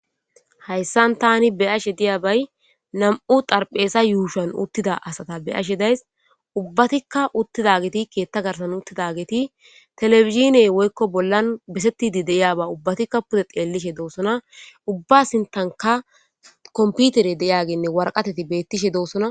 hayssan tani be7ashe diyabay nam7u xarpheeza yuushan uttida asata be7ashe days ubbatikka uttidageti keetta garsan uttidageeti televidziney woykko bollan besettidi de7iyaba ubbatikka pude xeellishe doossona ubba sintanka kompitere deyagenne warqateti beettishe doosona